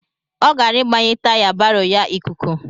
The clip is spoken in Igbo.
Ọ gara ịgbanye taya baro ya ikuku.